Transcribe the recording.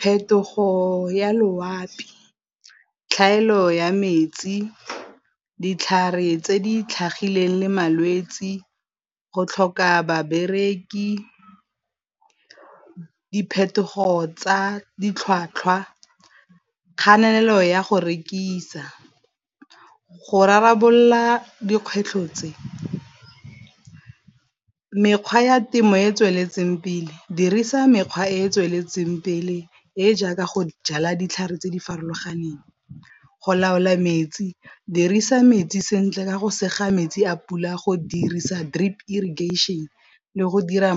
Phetogo ya loapi, tlhaelo ya metsi, ditlhare tse di tlhagileng le malwetse, go tlhoka babereki, diphetogo tsa ditlhwatlhwa, kganelelo ya go rekisa. Go rarabolola dikgwetlho tse mekgwa ya temo e e tsweletseng pele dirisa mekgwa e e tsweletseng pele e e jaaka go jala ditlhare tse di farologaneng, go laola metsi dirisa metsi sentle ka go sega metsi a pula go dirisa drip irrigation le go dira ,